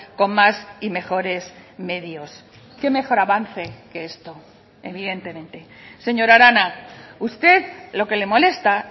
con más y mejores medios qué mejor avance que esto evidentemente señora arana usted lo que le molesta